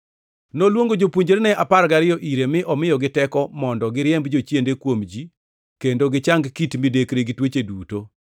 Noluongo jopuonjrene apar gariyo ire, mi omiyogi teko mondo giriemb jochiende kuom ji, kendo gichang kit midekre gi tuoche duto.